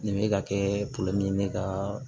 Nin bɛ ka kɛ ne ka